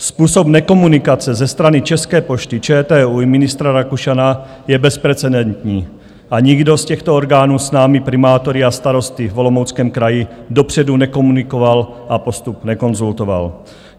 Způsob nekomunikace ze strany České pošty, ČTÚ i ministra Rakušana je bezprecedentní a nikdo z těchto orgánů s námi, primátory a starosty v Olomouckém kraji, dopředu nekomunikoval a postup nekonzultoval.